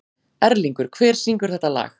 Erlingur, hver syngur þetta lag?